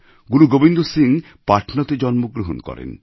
গুরু গোবিন্দ সিং পাটনাতে জন্ম গ্রহণ করেন